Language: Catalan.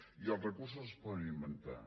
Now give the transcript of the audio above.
i els recursos no es poden inventar